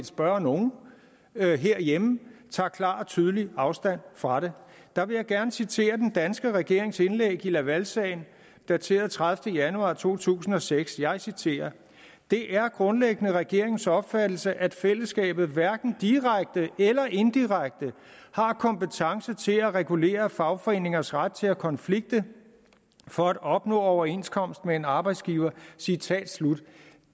spørge nogen herhjemme tager klart og tydeligt afstand fra det der vil jeg gerne citere den danske regerings indlæg i lavalsagen dateret den tredivete januar to tusind og seks og jeg citerer det er grundlæggende regeringens opfattelse at fællesskabet hverken direkte eller indirekte har kompetence til at regulere fagforeningers ret til at konflikte for at opnå overenskomst med en arbejdsgiver citat slut